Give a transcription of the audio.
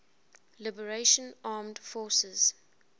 liberation armed forces